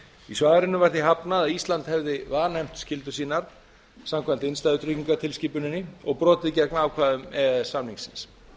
í svarinu var því hafnað að ísland hefði vanefnt skyldur sínar samkvæmt innstæðutryggingatilskipuninni og brotið gegn ákvæðum e e s samningsins